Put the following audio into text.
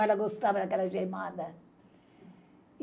Ela gostava daquela gemada.